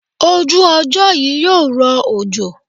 Ojú ọjọ́ yí yóò rọ òjò.